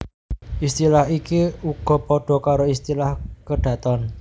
Istilah iki uga padha karo istilah kedaton